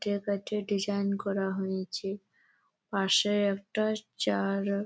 কেটে কেটে ডিসাইন করা হয়েছে পাশে একটা চার--